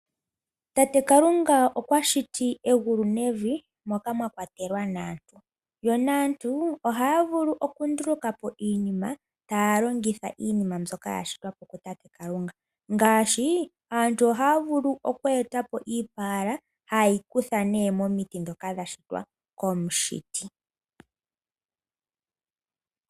Tate kalunga okwashiti egulu nevi moka mwakwatelwa naantu. Aantu ohaya vulu okundulukapo iinima taya longitha iinima mbyoka yashitwapo ku tate kalunga, ngaashi aantu ohaya vulu oku eta po oopaala haye dhi kutha ne momiti ndhoka dha shitwa komushiti.